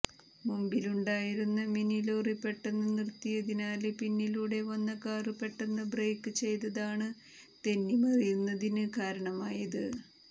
മുമ്പിലുണ്ടായിരുന്ന mini lorry പെട്ടെന്ന് നിര്ത്തിയതിനാല് പിന്നിലൂടെ വന്ന കാര് പെട്ടെന്ന് ബ്രേക്ക് ചെയ്തതാണ് തെന്നി മറിയുന്നതിന് കാരണമായത്